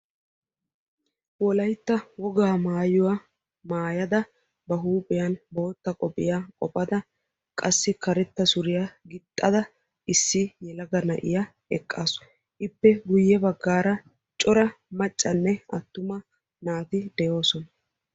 Wolaytta wogaa maayuwa maayadda ba huuphiyan karetta qobbiya wottadda issi geela'iya eqqassu.